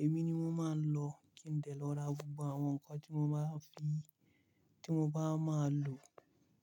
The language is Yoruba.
Èmi ni wọ́n máa ń lọ kí n lè lọ ra gbogbo àwọn nǹkan tí mo bá fi, tí mo bá máa lò.